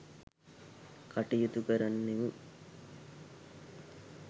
කටයුතු කරන්නෙමු.